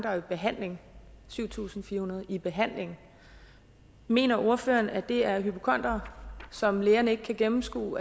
der er i behandling syv tusind fire hundrede i behandling mener ordføreren at det er hypokondere som lægerne ikke kan gennemskue